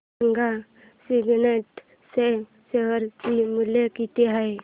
सांगा सिग्नेट चे शेअर चे मूल्य किती आहे